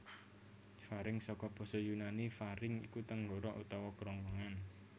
Faring saka basa Yunani pharynx iku tenggorok utawa kerongkongan